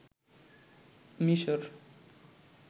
মিশর